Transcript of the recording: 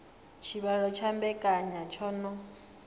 tshivhalo tsha mbekanya tsho no